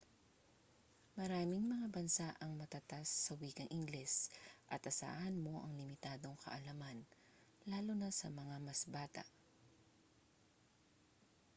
maraming mga bansa ang matatas sa wikang ingles at asahan mo ang limitadong kaalaman lalo na sa mga mas bata